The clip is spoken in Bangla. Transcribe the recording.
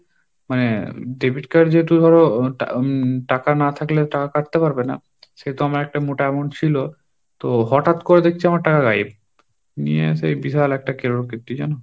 মনে debit card যেহেতু ধরো টা~ টাকা না থাকলে টাকা কাটতে পারবে না, সেহেতু আমার একটা মোটা amount ছিল, তো হঠাৎ করে দেখছি আমার টাকা Hindi নিয়ে এসে বিশাল একটা কেলোর কীর্তি জানো?